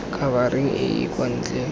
khabareng e e kwa ntle